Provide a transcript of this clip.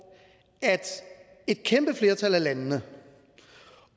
et kæmpe flertal af landene